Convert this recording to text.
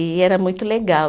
E era muito legal.